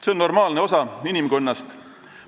See on normaalne osa inimkonnast.